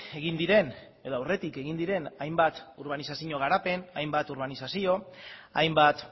egin diren edo aurretik egin diren hainbat urbanizazio garapen hainbat urbanizazio hainbat